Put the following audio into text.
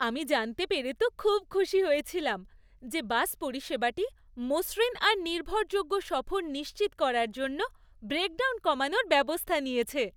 আমি জানতে পেরে তো খুব খুশি হয়েছিলাম যে বাস পরিষেবাটি মসৃণ আর নির্ভরযোগ্য সফর নিশ্চিত করার জন্য ব্রেকডাউন কমানোর ব্যবস্থা নিয়েছে।